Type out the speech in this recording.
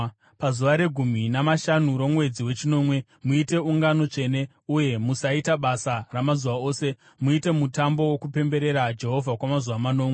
“ ‘Pazuva regumi namashanu romwedzi wechinomwe, muite ungano tsvene uye musaita basa ramazuva ose. Muite mutambo wokupemberera Jehovha kwamazuva manomwe.